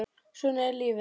Svona er lífið!